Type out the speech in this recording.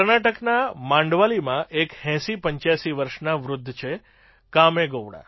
કર્ણાટકના મંડાવલીમાં એક ૮૦૮૫ વર્ષના વૃદ્ધ છે કામેગોવડા